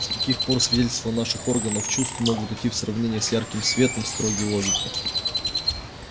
с каких пор свидетельства наших органов чувств могут идти в сравнение с ярким светом строгий логики